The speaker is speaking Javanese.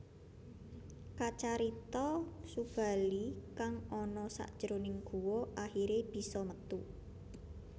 Kacarita Subali kang ana sajroning guwa akhiré bisa metu